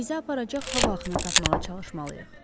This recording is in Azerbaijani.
Bizə aparacaq hava axını tapmağa çalışmalıyıq.